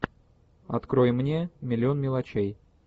открой мне миллион мелочей